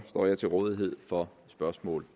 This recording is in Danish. står jeg til rådighed for spørgsmål